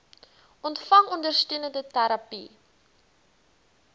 ontvang ondersteunende terapie